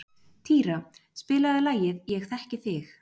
Týra, spilaðu lagið „Ég þekki þig“.